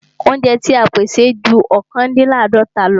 Óúnjẹ ti à ń pèsè ju ọ̀kándínláàdọ́ta lọ.